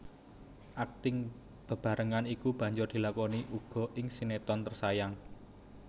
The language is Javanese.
Akting bebarengan iki banjur dilakoni uga ing sinetron Tersayang